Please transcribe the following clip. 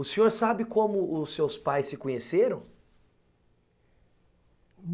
O senhor sabe como os seus pais se conheceram?